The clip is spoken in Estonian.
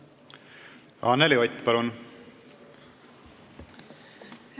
Anneli Ott, palun!